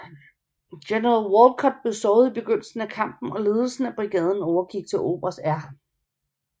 General Walcutt blev såret i begyndelsen af kampen og ledelsen af brigaden overgik til oberst R